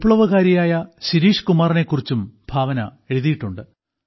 വിപ്ലവകാരിയായ ശിരീഷ് കുമാറിനെക്കുറിച്ചും ഭാവന എഴുതിയിട്ടുണ്ട്